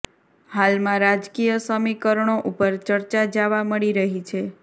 હાલમાં રાજકીય સમીકરણો ઉપર ચર્ચા જાવા મળી રહી છે